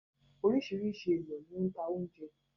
Oríṣiríṣi èèyàn ní ó n ta ounjẹ